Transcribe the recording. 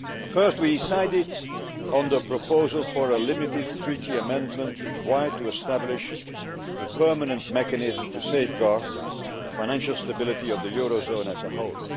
First, we decided on the proposal for a limited Treaty amendment required to establish a permanent mechanism to safeguard the financial stability of the eurozone as a whole.